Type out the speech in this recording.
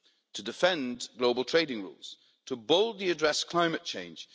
to defend global trading rules to boldly address climate change